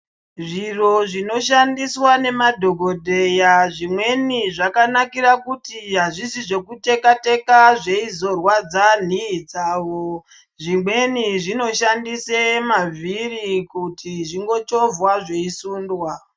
Zviro zvinoshandiswa nemadhokodheya zvimweni zvakanakire kuti azvisi zvekuteka teka zveizorwadze nhii dzawo zvimweni zvinoshandise mavhiri kuti zvingochovhwa zveisundwa.